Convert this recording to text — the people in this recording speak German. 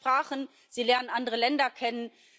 Sie lernen Sprachen, sie lernen andere Länder kennen.